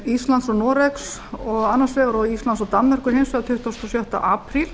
íslands og noregs annars vegar og íslands og danmerkur hins vegar tuttugasta og sjötta apríl